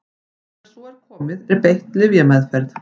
þegar svo er komið er beitt lyfjameðferð